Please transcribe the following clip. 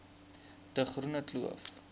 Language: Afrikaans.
de groene kloof